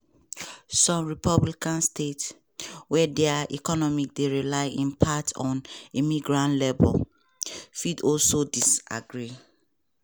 some republican states – wey dia economies dey rely in part on immigrant labour – fit also disagree.